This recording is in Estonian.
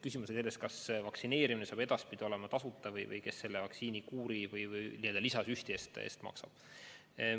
Küsimus oli selle kohta, kas vaktsineerimine saab edaspidi olema tasuta ehk kes selle vaktsiinikuuri või lisasüsti eest maksab.